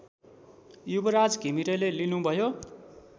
युवराज घिमिरेले लिनुभयो